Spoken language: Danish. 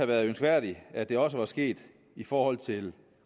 været ønskværdigt at det også var sket i forhold til